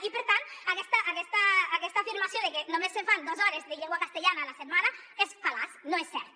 i per tant aquesta afirmació de que només se fan dos hores de llengua castellana a la setmana és fal·laç no és cert